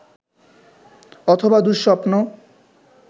অথবা দু:স্বপ্ন